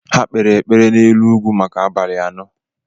Ha kpeere ekpere n'elu ugwu maka abalị anọ.